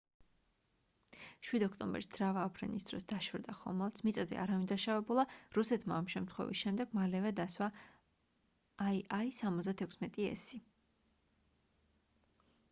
7 ოქტომბერს ძრავა აფრენის დროს დაშორდა ხომალდს მიწაზე არავინ დაშავებულა რუსეთმა ამ შემთხვევის შემდეგ მალევე დასვა il-76s